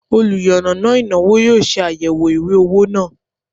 oluyannana inawo yoo se ayewo iwe owo naa